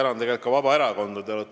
Ma tänan ka Vabaerakonda!